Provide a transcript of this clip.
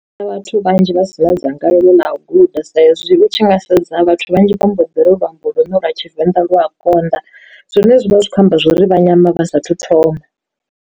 Kha vhathu vhanzhi vha si na dzangalelo ḽa u guda sa izwi hu tshi nga sedza vhathu vhanzhi vha mboḓi ro luambo lune lwa tshivenḓa lu a konḓa, zwine zwavha zwi kho amba zwori vha nyama vha sathu thoma.